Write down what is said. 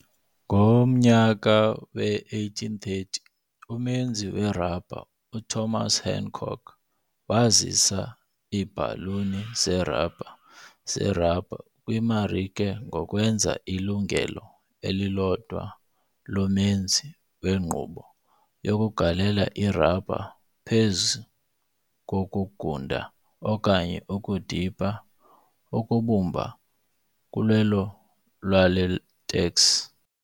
Ngomnyaka we-1830, umenzi werabha uThomas Hancock wazisa iibhaluni zerabha zerabha kwimarike ngokwenza ilungelo elilodwa lomenzi wenkqubo yokugalela irabha phezu kokungunda okanye ukudipha ukubumba kulwelo lwelatex.